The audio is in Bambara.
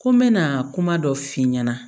Ko n bɛna kuma dɔ f'i ɲɛna